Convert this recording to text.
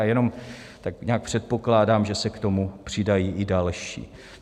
A jenom tak nějak předpokládám, že se k tomu přidají i další.